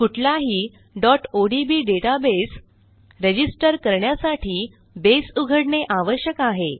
कुठलाही odb database register करण्यासाठी बसे उघडणे आवश्यक आहे